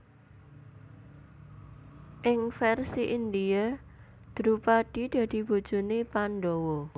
Ing versi India Drupadi dadi bojone Pandhawa